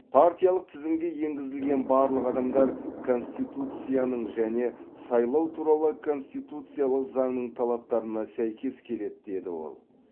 партиялық тізімге енгізілген барлық адамдар конституцияның және сайлау туралы конституциялық заңның талаптарына сәйкес келеді деді ол